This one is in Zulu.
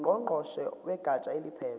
ngqongqoshe wegatsha eliphethe